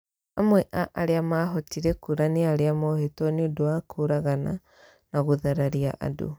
Amwe a arĩa maahotire kũũra nĩ arĩa mohetwo nĩ ũndũ wa kũũragana na gũthararia andũ.